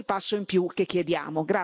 Questo è il passo in più che chiediamo.